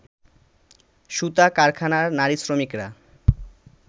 সুতা কারখানার নারী শ্রমিকরা